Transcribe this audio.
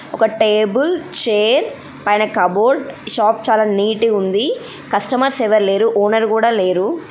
ఒక table chair పైన cupboard. Shop చాలా నీట్ వుంది. కస్టమర్స్ ఎవర్ లేరు. ఓనర్ కూడా లేరు.